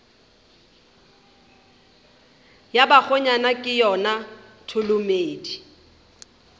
ya bakgonyana ke yona tholomedi